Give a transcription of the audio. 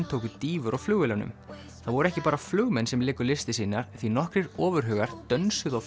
tóku dýfur á flugvélunum það voru ekki bara flugmenn sem léku listir sínar því nokkrir ofurhugar dönsuðu á